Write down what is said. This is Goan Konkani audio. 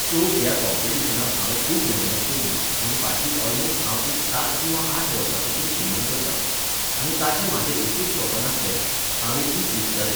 सो, ह्या कॉंपिटिशनाक हांवें खूब मेहनत केल्ली आनी फाटलीं ऑलमोस्ट हांव एक सात किंवा आठ वर्सांपसून स्विंमिग करतां. आनी ताचें म्हाजें एकूच स्वपन आसलें, हांव एक दीस जिखतलें.